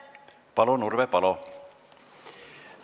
Palun, Urve Palo!